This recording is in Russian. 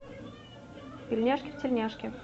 пельняшки в тельняшке